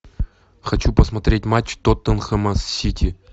хочу посмотреть матч тоттенхэма с сити